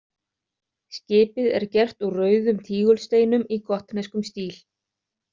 Skipið er gert úr rauðum tígulsteinum í gotneskum stíl.